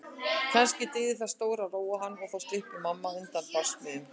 Kannski dygði það til að róa hann og þá slyppi mamma undan barsmíðunum.